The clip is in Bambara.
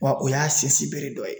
Wa o y'a sinsin bere dɔ ye.